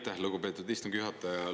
Aitäh, lugupeetud istungi juhataja!